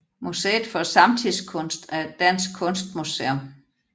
Museet for Samtidskunst er et dansk kunstmuseum